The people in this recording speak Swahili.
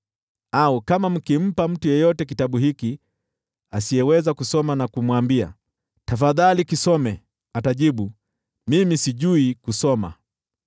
Au kama mkimpa mtu yeyote kitabu hiki asiyeweza kusoma na kumwambia, “Tafadhali kisome,” atajibu, “Mimi sijui kusoma.”